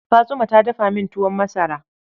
Fatsuma ta dafa min tuwon masara.